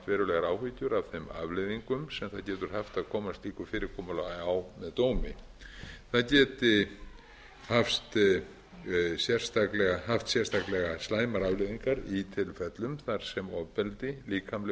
verulegar áhyggjur af þeim afleiðingum sem það getur haft að koma slíku fyrirkomulagi á með dómi það getur haft sérstaklega slæmar afleiðingar í tilfellum þar sem ofbeldi líkamlegu